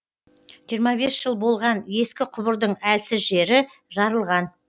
жиырма бес жыл болған ескі құбырдың әлсіз жері жарылған